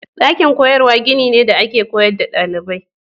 Dakin koyarwa gini ne da ake koyar da dalibai.